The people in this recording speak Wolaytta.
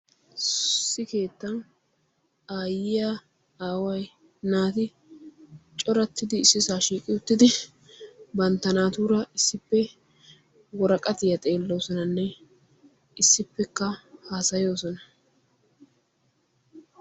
issi keettan aayyiya aaway naati coratidi issisaa shiiqidi banta woraqattiya xeeloosonanne haasayoosona.